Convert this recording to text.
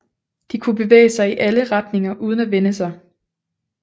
De kunne bevæge sig i alle retninger uden at vende sig